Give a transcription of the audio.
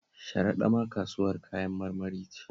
Sharaɗa ma kasuwar Kayan marmari ce